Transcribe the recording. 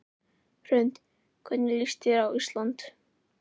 Hrund: Hvernig líst þér á Ísland?